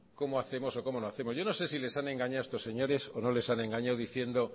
cómo hacemos y cómo no hacemos yo no sé si les han engañado a estos señores o no les han engañado diciendo